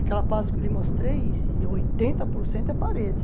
Aquela parte que eu lhe mostrei, oitenta por cento é parede.